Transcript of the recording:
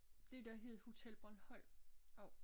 Det der hed Hotel Bornholm også